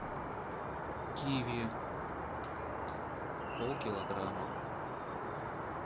киви полкилограмма